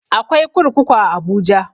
Akwai kurkuku a abuja